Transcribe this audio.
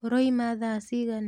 ũroima thaa cigana.